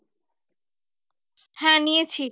হ্যাঁ নিয়েছি।